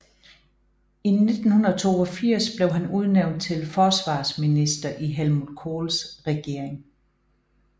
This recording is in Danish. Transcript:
I 1982 blev han udnævnt til forsvarsminister i Helmut Kohls regering